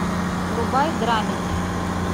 врубай драмеди